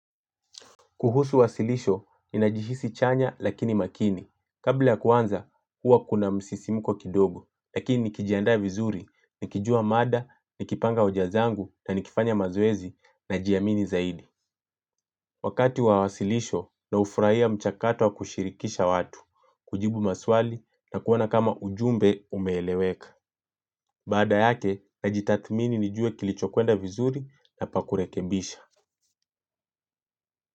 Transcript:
Kuhusu wasilisho, ni najihisi chanya lakini makini. Kabla ya kuanza, huwa kuna msisimuko kidogo. Lakini nikijandaa vizuri, nikijua mada, nikipanga hoja zangu na nikifanya mazoezi najiamini zaidi. Wakati wa wasilisho, na hufurahia mchakato wa kushirikisha watu, kujibu maswali na kuwana kama ujumbe umeeleweka. Baada yake, najitathmini nijue kilicho kwenda vizuri na pakurekebisha.